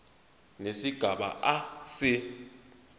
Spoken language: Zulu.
nesigaba a se